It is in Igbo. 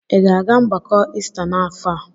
Ị ga-aga mgbakọ Ista n'afọ a?